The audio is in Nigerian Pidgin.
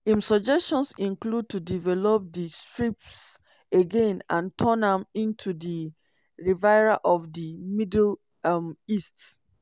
im suggestions include to develop di strip again and turn am into di "riviera of di middle um east".